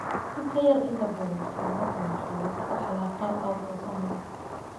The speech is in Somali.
In ka yar inta badan, xaaladdan waxaa lagu dhaxlaa qaab autosomal ah.